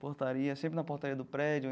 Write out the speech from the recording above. Portaria, sempre na portaria do prédio.